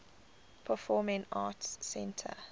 performing arts center